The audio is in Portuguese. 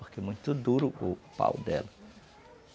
Porque é muito duro o pau dela.